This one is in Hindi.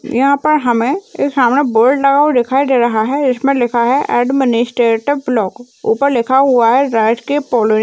यहा पर हमें एक सामने बोर्ड लगा हुआ दिखाई दे रहा है इसमें लिखा है एडमिनिस्ट्रेटिव ब्लॉक ऊपर लिखा हुआ है राजकीय पौलोए --